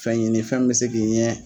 Fɛnɲini fɛn min bɛ se k'i ɲɛ.